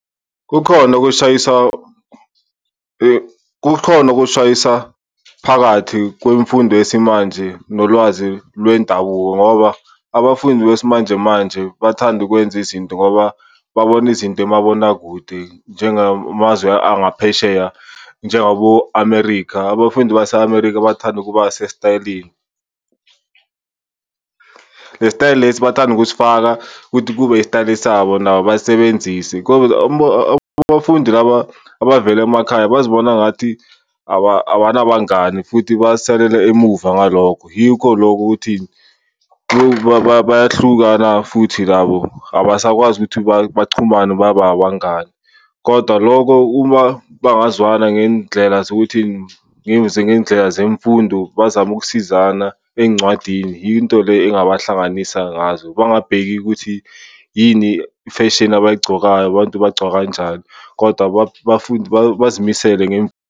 Kukhona ukushayisa kukhona ukushayisa phakathi kwemfundo yesimanje nolwazi lwendabuko ngoba abafundi besimanjemanje bathanda ukwenza izinto ngoba babona izinto emabonakude njengamazwe angaphesheya, njengabo-America. Abafundi base-America bathanda ukuba sesitayeleni. Le sitayela lesi bathanda ukusifaka ukuthi kube isitayeli sabo nabo cause abafundi laba abavela emakhaya bazibona ngathi abanangani futhi basalela emuva ngalokho. Yikho lokho ukuthi bayahlukana futhi labo abasakwazi ukuthi bachumane babe abangani. Kodwa loko uma bangazwana ngey'ndlela zokuthi, ngey'ndlela zemfundo bazame ukusizana ey'ncwadini, yinto le engabahlanganisa ngazo. Bangabheki ukuthi yini ifeshini abay'gcokayo, abantu bagcoka kanjani kodwa abafundi bazimisele .